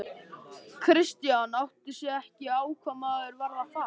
Christian áttaði sig ekki á hvað maðurinn var að fara.